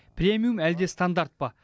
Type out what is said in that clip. премиум әлде стандарт па